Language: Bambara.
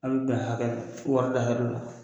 hakɛ